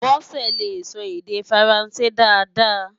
Bose lé sò èdè Fáránsé dàáda